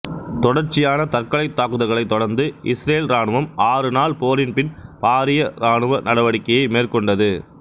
தொடர்ச்சியான தற்கொலைத் தாக்குதல்களைத் தொடர்ந்து இசுரேல் இராணுவம் ஆறு நாள் போரின் பின் பாரிய இராணுவ நடவடிக்கையை மேற்கொண்டது